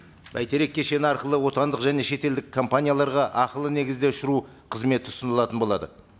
бәйтерек кешені арқылы отандық және шетелдік компанияларға ақылы негізде ұшыру қызметі ұсынылатын болады